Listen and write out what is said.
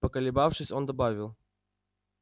поколебавшись он добавил